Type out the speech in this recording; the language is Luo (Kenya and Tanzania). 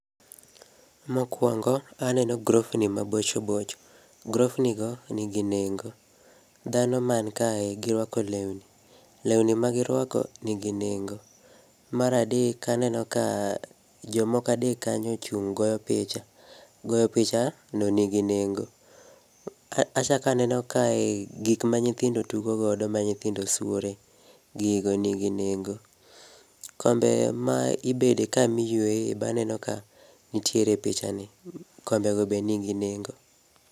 Mokuongo, aneno grofni mabocho bocho, grofnigo, nigi nengo. Dhano man kae girwako lewni, lewni ma girwako, nigi nengo. Mar adek, aneno ka jomoko adek kanyo ochung' goyo picha, goyo picha no, nigi nengo. Achako aneno kae gik manyithindo tugo godo, ma nyithindo suore, gigo nigi nengo. Kombe ma ibede ka miyueye be aneno kanitire epichani, kombe go nigi nengo.